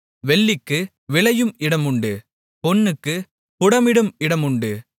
வெள்ளிக்கு விளையும் இடம் உண்டு பொன்னுக்குப் புடமிடும் இடமுமுண்டு